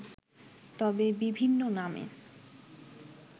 তবে বিভিন্ন নামে